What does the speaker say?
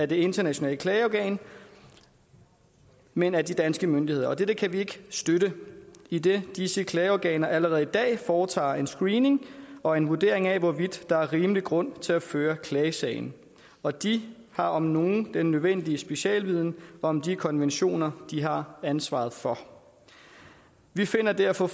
det internationale klageorgan men af de danske myndigheder og dette kan vi ikke støtte idet disse klageorganer allerede i dag foretager en screening og en vurdering af hvorvidt der er rimelig grund til at føre klagesagen og de har om nogen den nødvendige specialviden om de konventioner de har ansvaret for vi finder derfor